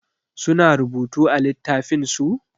Su na rubutu a littafin su?